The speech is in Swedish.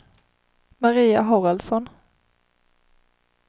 Maria Haraldsson